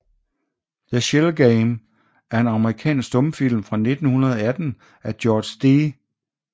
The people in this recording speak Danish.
The Shell Game er en amerikansk stumfilm fra 1918 af George D